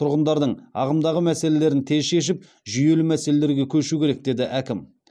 тұрғындардың ағымдағы мәселелерін тез шешіп жүйелі мәселелерге көшу керек деді әкім